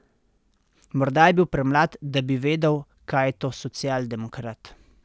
Morda je bil premlad, da bi vedel, kaj je to socialdemokrat.